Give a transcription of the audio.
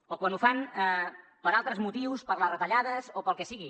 o quan ho fan per altres motius per les retallades o pel que sigui